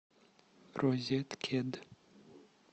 розеткед